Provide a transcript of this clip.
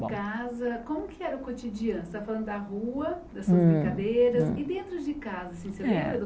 Em casa como que era o cotidiano você está falando da rua, das suas Hum brincadeiras, Hum e dentro de casa, assim, você lembra do É